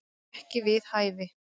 Ekki við hæfi